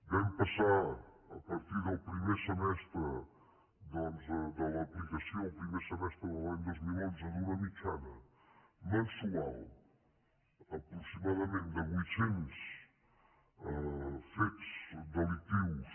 vam passar a partir del primer semestre doncs de l’aplicació en el primer semestre de l’any dos mil onze d’una mitjana mensual aproximadament de vuit cents fets delictius